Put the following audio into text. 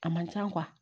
A man ca